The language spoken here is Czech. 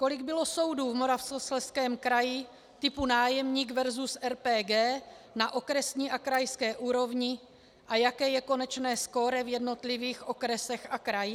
Kolik bylo soudů v Moravskoslezském kraji typu nájemník versus RPG na okresní a krajské úrovni a jaké je konečné skóre v jednotlivých okresech a krajích?